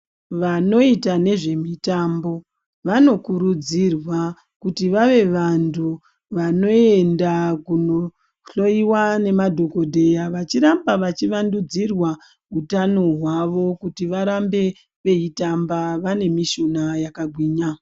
Vanoita nezvemutambo vanokuridzirwa kuti vave vantu vanoenda kunohloyiwa nemadhokodheya, vachiramba vachiwandudzirwa hutano hwawo kuti varambe veitamba vanemishuna yakagwinya.